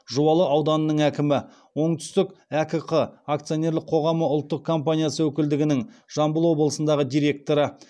жуалы ауданының әкімі оңтүстік әкк акционерлік қоғамы ұлттық компаниясы өкілдігінің жамбыл облысындағы директоры